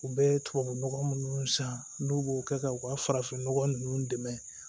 U bɛ tubabu nɔgɔ minnu san n'u b'o kɛ ka u ka farafinnɔgɔ ninnu dɛmɛ